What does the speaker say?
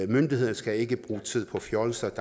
myndighederne skal ikke bruge tid på fjolser